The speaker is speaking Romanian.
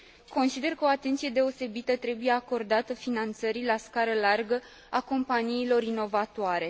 Consider că o atenție deosebită trebuie acordată finanțării la scară largă a companiilor inovatoare.